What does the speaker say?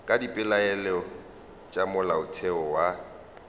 ka dipeelano tša molaotheo wa